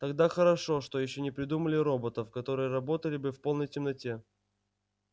тогда хорошо что ещё не придумали роботов которые работали бы в полной темноте